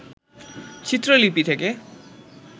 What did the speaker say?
চিত্রলিপি থেকে